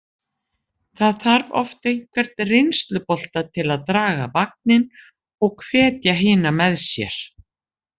Það þarf oft einhvern reynslubolta til að draga vagninn og hvetja hina með sér.